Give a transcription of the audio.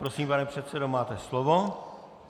Prosím, pane předsedo, máte slovo.